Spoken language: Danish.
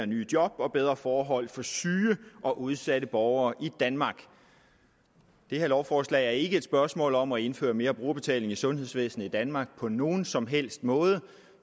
nye job og bedre forhold for syge og udsatte borgere i danmark det her lovforslag er ikke et spørgsmål om at indføre mere brugerbetaling i sundhedsvæsenet i danmark på nogen som helst måde